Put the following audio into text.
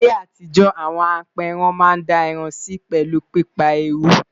ní ayé àtijó, àwọn aperan Man dá ẹran Si pelu pípa eruu